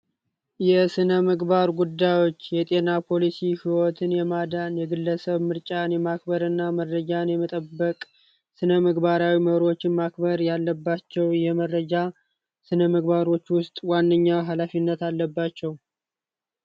የስነ ምግባር ጉዳዮች የጤና ፖሊሲ ህይወትን የማዳን የግለሰብ ምርጫን የማክበር እና መረጃን የመጠበቅ ስነምግባራዊ ማክበር ያለባቸው የመረጃ ስነምግባሮች ውስጥ ዋነኛ ሃላፊነት አለባቸው።